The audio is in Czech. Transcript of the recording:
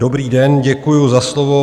Dobrý den, děkuji za slovo.